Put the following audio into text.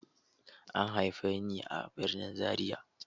An haife ni a birnin Zariya.